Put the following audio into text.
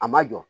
A ma jɔ